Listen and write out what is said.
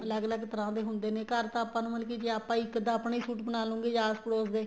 ਅਲੱਗ ਅਲੱਗ ਤਰ੍ਹਾਂ ਦੇ ਹੁੰਦੇ ਨੇ ਘਰ ਤਾਂ ਆਪਾਂ ਨੂੰ ਮਤਲਬ ਕੀ ਜ਼ੇ ਆਪਾਂ ਇੱਕ ਅੱਧਾ ਆਪਣਾ ਹੀ suit ਬਣਾਲੂਗੇ ਜਾਂ ਆਸ ਪੜੋਸ ਦੇ